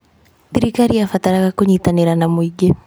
Thirikari yabataraga kũnyitanĩra na mũingĩ.